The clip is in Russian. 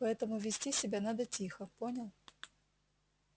поэтому вести себя надо тихо понял